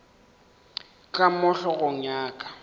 ka mo hlogong ya ka